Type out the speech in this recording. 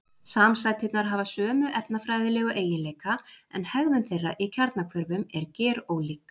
Samsæturnar hafa sömu efnafræðilegu eiginleika en hegðun þeirra í kjarnahvörfum er gerólík.